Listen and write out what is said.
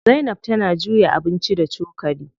Zainab tana juya abinci da cokali.